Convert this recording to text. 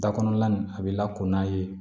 Da kɔnɔna na a bɛ lako n'a ye